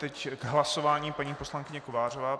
Teď k hlasování paní poslankyně Kovářová.